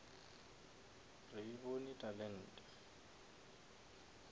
re e bone talente